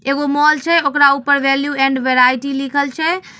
एगो मॉल छै। ओकरा ऊपर वैल्यू एण्ड वैरायटी लिखल छै।